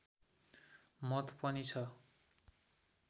मत पनि छ